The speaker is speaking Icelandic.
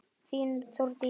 Þín, Þórdís.